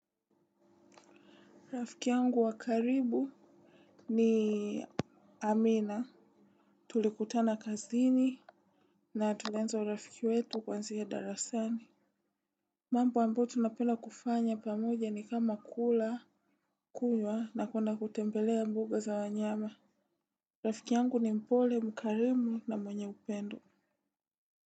Rafiki yangu wa karibu ni Amina. Tulikutana kazini na tulianza urafiki wetu kuanzia darasani. Mambo ambayo tunapenda kufanya pamoja ni kama kula kunywa na kuenda kutembelea mbuga za wanyama. Rafiki yangu ni mpole, mkarimu na mwenye upendo.